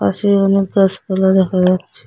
পাশে অনেক গাছপালা দেখা যাচ্ছে।